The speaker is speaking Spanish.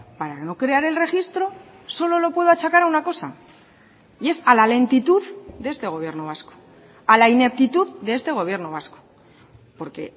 para no crear el registro solo lo puedo achacar a una cosa y es a la lentitud de este gobierno vasco a la ineptitud de este gobierno vasco porque